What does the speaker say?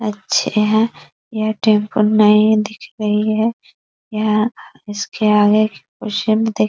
अच्छे हैं | यह टेंपू नई दिख रही है | यह इसके आगे कुछ --